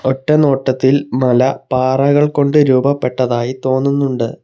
ഒറ്റനോട്ടത്തിൽ മല പാറകൾ കൊണ്ട് രൂപപ്പെട്ടതായി തോന്നുന്നുണ്ട്.